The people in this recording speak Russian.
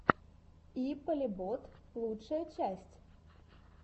и полебот лучшая часть